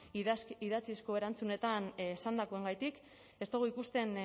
idatzizko erantzunetan esandakoagatik ez dogu ikusten